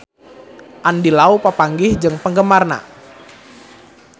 Andy Lau papanggih jeung penggemarna